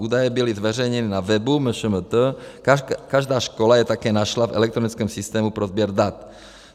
Údaje byly zveřejněny na webu MŠMT, každá škola je také našla v elektronickém systému pro sběr dat.